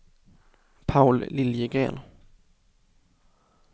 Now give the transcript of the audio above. Paul Liljegren